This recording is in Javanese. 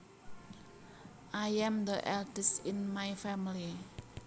I am the eldest in my family